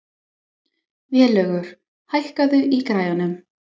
Vélaugur, hækkaðu í græjunum.